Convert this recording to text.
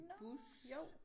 Nårh jo